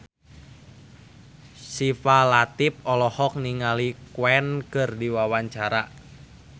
Syifa Latief olohok ningali Queen keur diwawancara